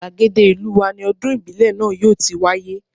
Gbàgede ìlú wa ni ọdún ìbílẹ̀ náà yóò ti wáyé